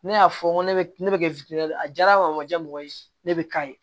Ne y'a fɔ n ko ne bɛ ne bɛ kɛ a diyara o ma diya mɔgɔ ye ne bɛ k'a ye